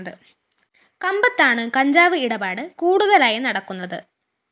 കമ്പത്താണ് കഞ്ചാവ് ഇടപാട് കൂടുതലായി നടക്കുന്നത്